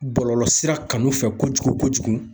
Bɔlɔlɔsira kanu fɛ kojugu kojugu.